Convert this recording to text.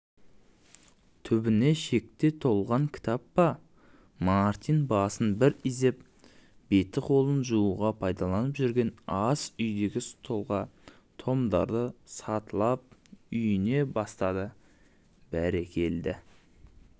түбіне шекте толған кітап па мартин басын бір изеп беті-қолын жууға пайдаланып жүрген ас үйдегі столға томдарды сатылап үйе бастадыбәрекелде-е